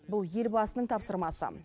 бұл елбасының тапсырмасы